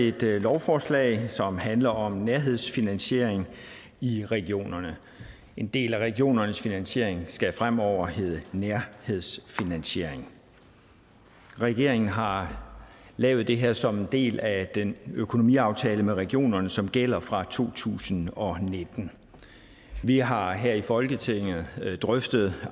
et lovforslag som handler om nærhedsfinansiering i regionerne en del af regionernes finansiering skal fremover hedde nærhedsfinansiering regeringen har lavet det her som en del af den økonomiaftale med regionerne som gælder fra to tusind og nitten vi har her i folketinget drøftet